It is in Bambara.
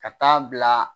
Ka taa bila